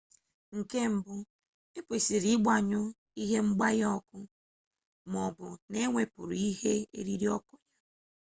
nke mbu ekwesịrị ịgbanyụ ihe ngbanye ọkụ ma ọ bụ na-ewepụrụ ihe eriri ọkụ ya